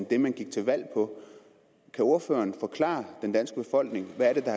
det man gik til valg på kan ordføreren forklare den danske befolkning hvad det er